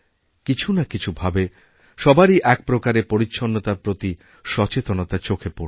কিছু না কিছু ভাবেসবারই এক প্রকারে পরিচ্ছন্নতার প্রতি সচেতনতা চোখে পড়ছে